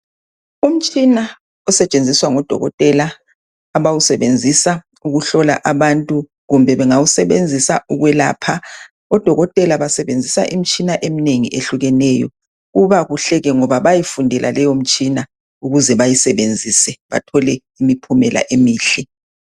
Umtshina osetshenziswa ngudokotela, abawusebenzisa ukuhlola abantu kumbe bengawusebenzisa ukwelapha .Odokotela basebenzisa imitshina eminengi ehlukeneyo. Kuba kuhleke ngoba bayifundela lemitshina ukuze bayisebenzise bathole imiphumela emihle.